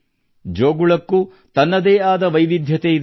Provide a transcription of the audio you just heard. ಜೋಗುಳಕ್ಕೂ ತನ್ನದೇ ವೈವಿಧ್ಯತೆಯಿದೆ